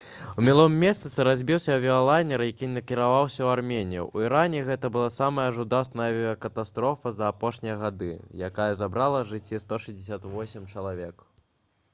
у мінулым месяцы разбіўся авіялайнер які накіроўваўся ў арменію у іране гэта была самая жудасная авіякатастрофа за апошнія гады якая забрала жыцці 168 чалавек